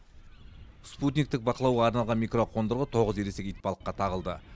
спутниктік бақылауға арналған микроқондырғы тоғыз ересек итбалыққа тағылды